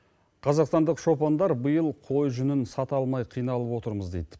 қазақстандық шопандар биыл қой жүнін сата алмай қиналып отырмыз дейді